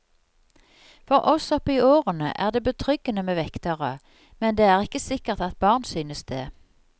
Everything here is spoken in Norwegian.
For oss opp i årene er det betryggende med vektere, men det er ikke sikkert at barn synes det.